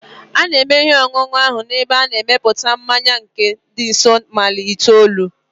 A na-eme ihe ọṅụṅụ ahụ n'ebe a na-emepụta mmanya nke dị nso maịl itoolu